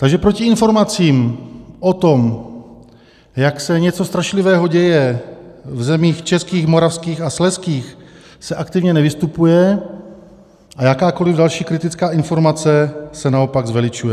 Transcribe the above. Takže proti informacím o tom, jak se něco strašlivého děje v zemích českých, moravských a slezských, se aktivně nevystupuje a jakákoli další kritická informace se naopak zveličuje.